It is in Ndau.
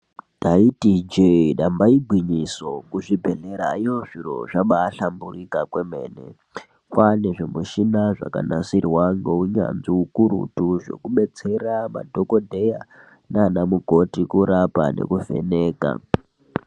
Taiti ijee damba igwinyiso, kuzvibhedhlerayo zvinhu zvabaahlamburuka kwemene, kwaane zvimushina zvakanasirwa ngeunyanzvi ukurutu zvekudetsera madhogodheya nanamukoti kurapa nekuvheneka.